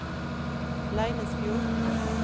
Leinesfjord